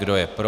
Kdo je pro?